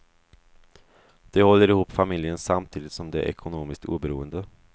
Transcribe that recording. De håller ihop familjen samtidigt som de är ekonomiskt oberoende.